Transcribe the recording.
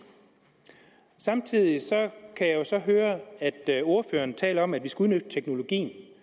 samtidig kan jeg så høre at ordføreren taler om at vi skal udnytte teknologien det